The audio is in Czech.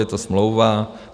Je to smlouva.